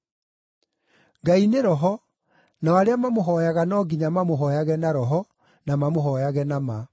Ngai nĩ roho, nao arĩa mamũhooyaga no nginya mamũhooyage na roho, na mamũhooyage na ma.”